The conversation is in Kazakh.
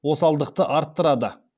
осалдықты арттырады